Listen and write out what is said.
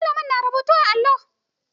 Malamin na rubutu a allo.